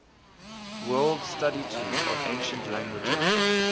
word study tool of ancient languages